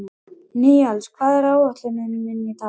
Níels, hvað er á áætluninni minni í dag?